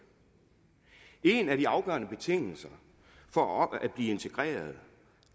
en af de afgørende betingelser for at blive integreret